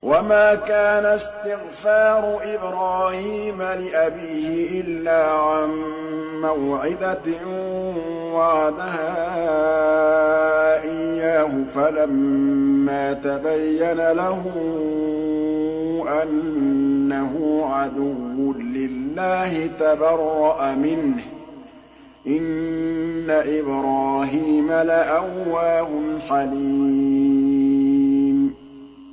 وَمَا كَانَ اسْتِغْفَارُ إِبْرَاهِيمَ لِأَبِيهِ إِلَّا عَن مَّوْعِدَةٍ وَعَدَهَا إِيَّاهُ فَلَمَّا تَبَيَّنَ لَهُ أَنَّهُ عَدُوٌّ لِّلَّهِ تَبَرَّأَ مِنْهُ ۚ إِنَّ إِبْرَاهِيمَ لَأَوَّاهٌ حَلِيمٌ